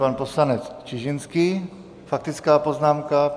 Pan poslanec Čižinský, faktická poznámka.